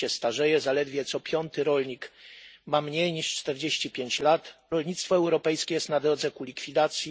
Wieś się starzeje, zaledwie co piąty rolnik ma mniej niż 45 lat, rolnictwo europejskie jest na drodze ku likwidacji.